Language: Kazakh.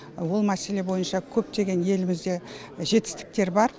ол мәселе бойынша көптеген елімізде жетістіктер бар